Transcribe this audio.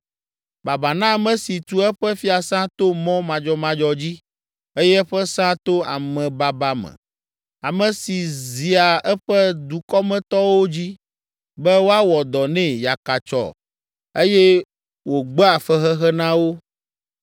“Baba na ame si tu eƒe fiasã to mɔ madzɔmadzɔ dzi eye eƒe sã to amebaba me, ame si zia eƒe dukɔmetɔwo dzi be woawɔ dɔ nɛ yakatsyɔ eye wògbea fexexe na wo.